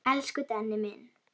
Elsku Denni minn.